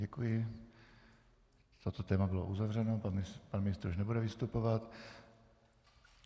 Děkuji, toto téma bylo uzavřeno, pan ministr už nebude vystupovat.